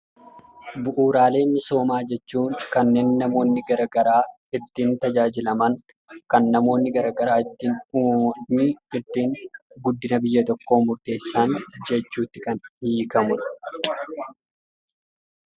Bu'uuraalee misoomaa jechuun kanneen namoonni garagaraa ittiin tajaajilaman, kan namoonni garagaraa ittiin guddina biyya tokkoo hundeessan jechuutti kan hiikamudha.